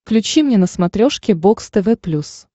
включи мне на смотрешке бокс тв плюс